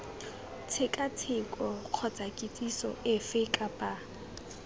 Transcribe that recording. tshekatsheko kgotsa kitsiso efe kapa